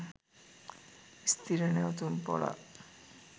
ස්ථීර නැවතුම්පොළක්